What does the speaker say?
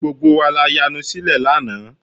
Gbogbo wa la yanu sílẹ̀ lánàá